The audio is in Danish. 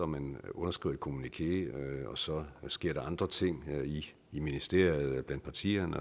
man underskriver et kommuniké og så sker der andre ting i ministeriet blandt partierne